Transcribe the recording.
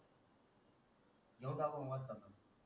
घेऊ टाकून वस्ताद ला